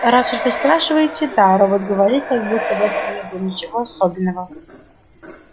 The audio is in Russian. раз уж вы спрашиваете да робот говорил как будто в этом не было ничего особенного